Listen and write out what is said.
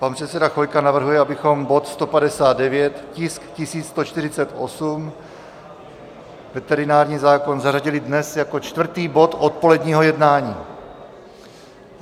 Pan předseda Chvojka navrhuje, abychom bod 159, tisk 1148, veterinární zákon, zařadili dnes jako čtvrtý bod odpoledního jednání.